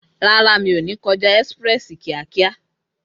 Rárá, mi ò ní kọjá ọ̀nà kíákíá